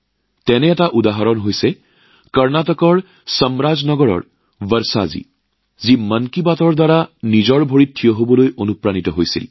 তেনে এক উদাহৰণ হল কৰ্ণাটকৰ চামৰাজনগৰৰ বৰ্ষাজী যিগৰাকীয়ে মন কী বাতৰ পৰা অনুপ্ৰাণিত হৈ নিজৰ ভৰিৰ ওপৰত থিয় দিছিল